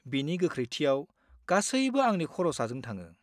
बिनि गोख्रैथियाव, गासैबो आंनि खर' साजों थाङो।